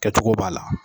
Kɛcogo b'a la